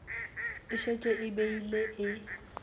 e šetše e bile e